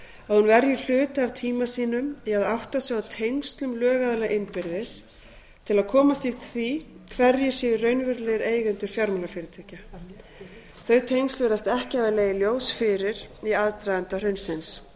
að hún verji hluta af tíma sínum í að átta sig á tengslum lögaðila innbyrðis til að komast að því hverjir séu raunverulegir eigendur fjármálafyrirtækja þau tengsl virðast ekki hafa legið ljós fyrir í aðdraganda hrunsins